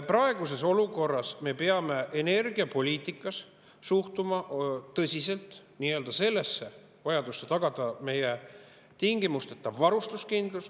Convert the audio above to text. Praeguses olukorras me peame energiapoliitikas suhtuma tõsiselt vajadusse tagada meie tingimusteta varustuskindlus.